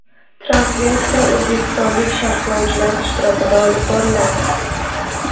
Translyatsiya o‘zbekistonlik sharhlovchilar ishtirokida olib boriladi.